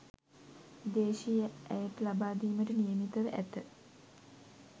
දේශීය ඇයට ලබාදීමට නියමිතව ඇත